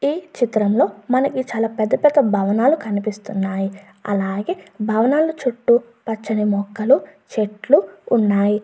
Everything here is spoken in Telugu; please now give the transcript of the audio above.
ఈ చిత్రం లో మనకి చాలా పెద్ద పెద్ద భవనాలు కనిపిస్తున్నాయి. అలాగే భవనాల చుట్టూ పచ్చని మొక్కలు చెట్లు ఉన్నాయి.